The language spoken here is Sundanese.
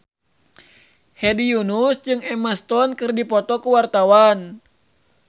Hedi Yunus jeung Emma Stone keur dipoto ku wartawan